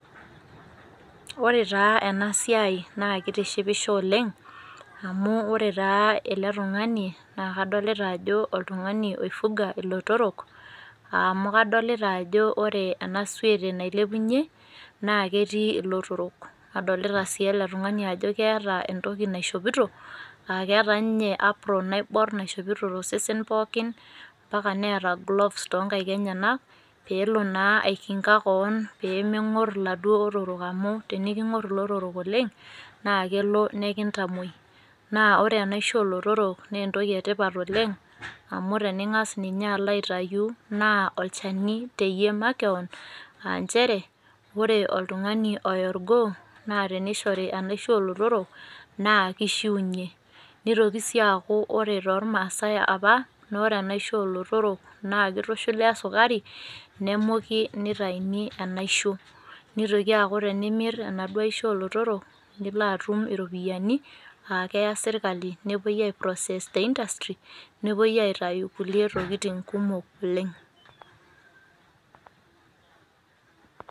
Ore taa ena siai naa keitishipisho oleng',amu ore taa ele tungani naa kadolita ajo oltungani oifuga ilotorok amu kadolita ajo ore enasiote nailepunye naa ketii ilotorok. Nadolita sii ajo ore tungani naa keeta entoki naishoopito naa keeta ninye apron naibor naishoopito tosesen pookin mbaka neeta gloves toonkaik enyanak peelo naa aikinka kewon peemenkor iladuo otorok amu teniinkor ilotorok oleng' naa kelo nokintamoi naa ore enaisho oolotorok naa entoki etipat oleng',amu teninkas ninye alo aitayu naaolchani teyie makewon aa njere ore oltungani oya olgoo naatenishori enaisho oolotorok naa kishiunyie. Nitoki sii akaaku ore too maasai apa naa ore enaisho oolotorok naakitushuli osekuri nemuki netaiyuni enaisho, netoiki aaku tenimir enaisho oolotorok nilo atum iropiyiani aakeya sirkali nepoi ai process te industry nepoi aitayu kulie tokitin kumok oleng'.